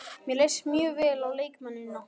Mér leist mjög vel á leikmennina.